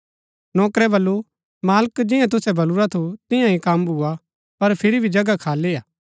नौकरै बल्लू मालिक जियां तुसै बल्लुरा थू तियां ही कम भुआ पर फिर भी जगहा खाली हा